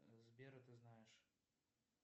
сбера ты знаешь